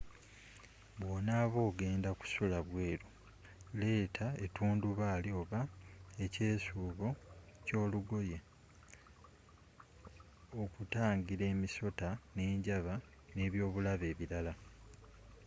bwonaaba ogenda kusula bweeru leeta etundubaali oba ekyeesuubo kyolugoye okutangira emisota, enjaba ne’byobulabe ebirala